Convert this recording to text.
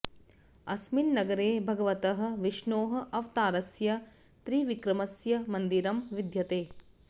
अस्मिन् नगरे भगवतः विष्णोः अवतारस्य त्रिविक्रमस्य मन्दिरं विद्यते